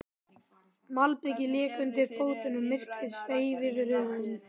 Malbikið lék undir fótunum, myrkrið sveif yfir höfðunum.